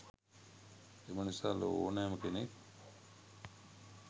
එම නිසා ලොව ඕනෑම කෙනෙක්